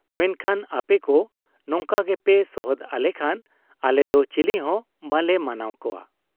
ᱢᱮᱱᱠᱷᱟᱱ ᱟᱯᱮᱠᱚ ᱱᱚᱝᱠᱟ ᱜᱮᱯᱮ ᱥᱚᱦᱚᱫ ᱟᱞᱮᱠᱷᱟᱱ ᱟᱞᱮᱫᱚ ᱪᱤᱞᱤᱦᱚᱸ ᱵᱟᱞᱮ ᱢᱟᱱᱟᱣ ᱠᱚᱣᱟ ᱾